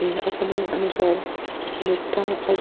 यह अपने अनुसार मिठ्ठा और--